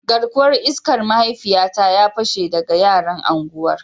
Garkuwar iskar mahaifiyata ya pashe daga yaran unguwar